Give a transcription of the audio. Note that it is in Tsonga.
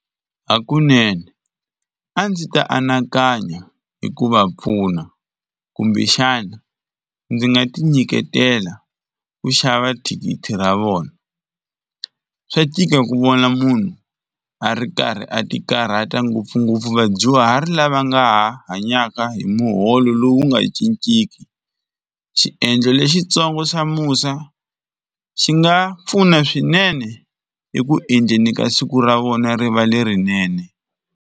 Hakunene a ndzi ta anakanya hi ku va pfuna kumbexana ndzi nga tinyiketela ku xava thikithi ra vona. Swa tika ku vona munhu a ri karhi a ti karhata ngopfungopfu vadyuhari lava nga ha hanyaka hi muholo lowu nga cinciki. Xiendlo lexitsongo xa musa xi nga pfuna swinene eku endleni ka siku ra vona ri va lerinene.